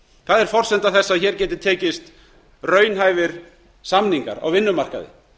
það er forsenda þess að hér geti tekist raunhæfir samningar á vinnumarkaði